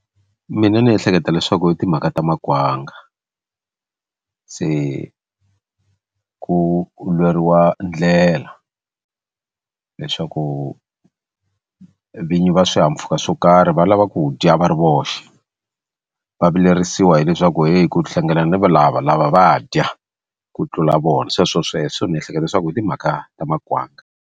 Mina ni ehleketa leswaku i timhaka ta makwanga se ku lweriwa ndlela leswaku vinyi va swihahampfhuka swo karhi va lava ku dya va ri voxe va vilerisiwa hileswaku hi ku hlangana ni valava lava va dya ku tlula vona sweswo sweswo ni ehleketa leswaku hi timhaka ta makwanga.